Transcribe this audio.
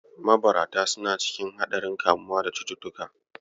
Mabarata suna cikin haɗaein kamuwa da cututtuka.